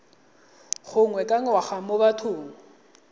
gangwe ka ngwaga mo bathong